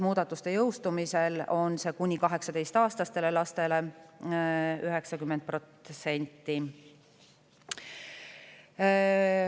Muudatuste jõustumisel on see 90% kuni 18‑aastastele lastele.